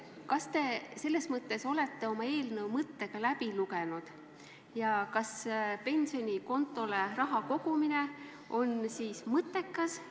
Kas olete oma eelnõu mõttega läbi lugenud ja leiate, et pensionikontole raha kogumine on siiski mõttekas?